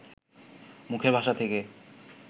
মুখের ভাষা থেকে